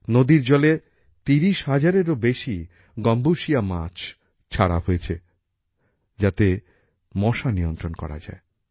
নদীর জলে ত্রিশ হাজারএরও বেশি গম্বুশিয়া মাছ ছাড়া হয়েছে যাতে মশা নিয়ন্ত্রণ করা যায়